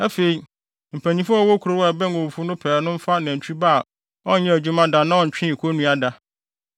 Afei, mpanyimfo a wɔwɔ kurow a ɛbɛn owufo no pɛɛ no mfa nantwi ba a ɔnyɛɛ adwuma da na ɔntwee konnua da